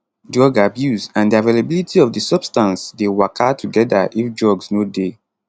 drug abuse and di availability of di substance dey waka togeda if drugs no dey